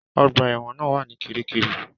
Ọgbà ẹ̀wọ̀n náà wà ní Kiríkirì.